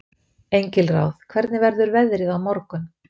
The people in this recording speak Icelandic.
Engilráð, hvernig verður veðrið á morgun?